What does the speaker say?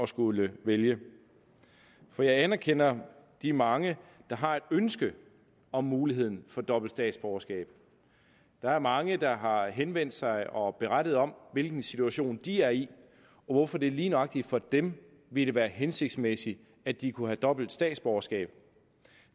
skulle vælge for jeg anerkender de mange der har et ønske om muligheden for dobbelt statsborgerskab der er mange der har henvendt sig og berettet om hvilken situation de er i og hvorfor det lige nøjagtig for dem ville være hensigtsmæssigt at de kunne have dobbelt statsborgerskab